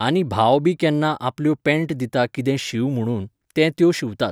आनी भाव बी केन्ना आपल्यो पॅण्ट दिता कितें शींव म्हुणून, ते त्यो शिंवतात.